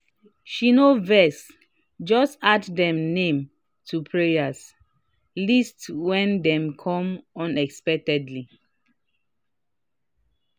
she no vex just add dem name to prayer list when dem come unexpected."